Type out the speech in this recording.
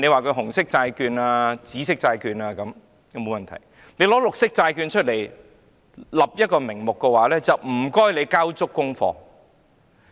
推出"紅色"或"紫色"債券並無問題，但如果以"綠色債券"作為發債名目，當局便應交足功課。